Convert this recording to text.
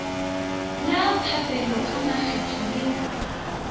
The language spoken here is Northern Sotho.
la phaphelo ka makgetho le